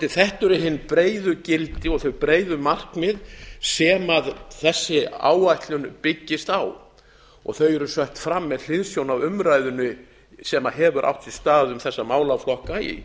þetta eru hin breiðu gildi og hin breiðu markmið sem þessi áætlun byggist á og þau eru sett fram með hliðsjón af umræðunni sem hefur átt sér stað um þessa málaflokka í